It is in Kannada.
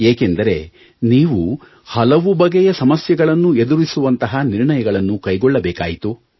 ಏಕೆಂದರೆ ನೀವು ಹಲವು ಬಗೆಯ ಸಮಸ್ಯೆಗಳನ್ನು ಎದುರಿಸುವಂತಹ ನಿರ್ಣಯಗಳನ್ನು ಕೈಗೊಳ್ಳಬೇಕಾಯಿತು